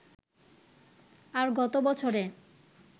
আর গত বছরে